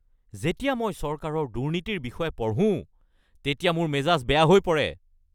যেতিয়া মই চৰকাৰৰ দুৰ্নীতিৰ বিষয়ে পঢ়োঁ তেতিয়া মোৰ মেজাজ বেয়া হৈ পৰে।